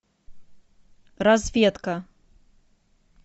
разведка